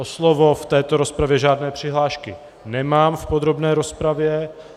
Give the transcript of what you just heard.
O slovo v této rozpravě žádné přihlášky nemám v podrobné rozpravě.